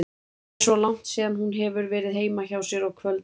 Það er svo langt síðan hún hefur verið heima hjá sér á kvöldin.